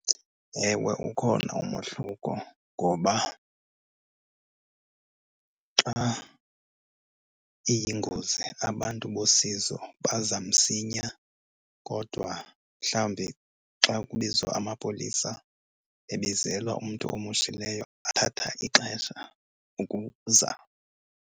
Ewe, ukhona umohluko ngoba xa iyingozi abantu bosizo baza msinya. Kodwa mhlawumbi xa kubizwa amapolisa ebizelwa umntu omoshileyo athatha ixesha ukuza.